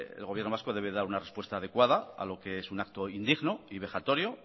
el gobierno vasco debe dar una respuesta adecuada a lo que es un acto indigno y vejatorio